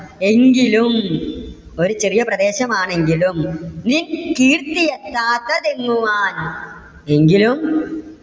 എങ്കിലും ഒരു ചെറിയ പ്രദേശം ആണെങ്കിലും നിൻ കീർത്തി എത്താത്തെതെങ്ങുവാൻ. എങ്കിലും